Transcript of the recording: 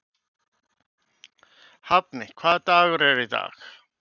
Hafni, hvaða dagur er í dag?